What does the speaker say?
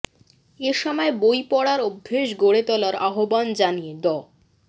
এ সময় বই পড়ার অভ্যাস গড়ে তোলার আহ্বান জানিয়ে ড